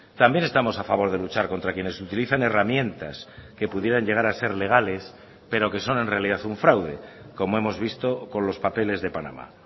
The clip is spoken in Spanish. también estamos a favor de luchar contra quienes utilizan herramientas que pudieran llegar a ser legales pero que son en realidad un fraude como hemos visto con los papeles de panamá